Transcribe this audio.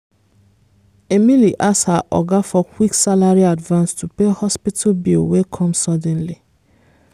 emily ask her oga for quick salary advance to pay hospital bill wey come suddenly.